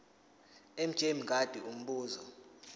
mj mngadi umbuzo